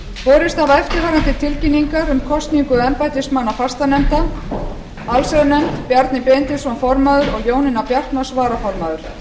borist hafa eftirfarandi tilkynningar um kosningu embættismanna fastanefnda allsherjarnefnd bjarni benediktsson formaður og jónína bjartmarz varaformaður